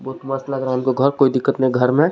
बहुत मस्त लग रहा है हमको घर कोई दिक्कत नहीं घर में.